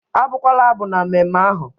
Abukwala abụ na mmemme ahụ!